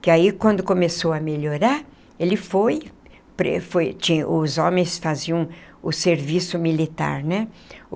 que aí quando começou a melhorar ele foi, os homens faziam o serviço militar, né?